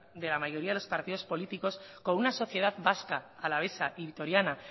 de la mayoría de los partidos políticos con una sociedad vasca alavesa y vitoriana